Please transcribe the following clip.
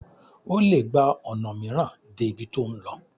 o le gba ona miiran dé ibí to n lò